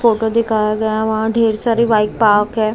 Photo दिखाया गया है वहां ढेर सारी बाइक पार्क है।